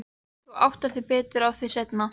Þú áttar þig betur á því seinna.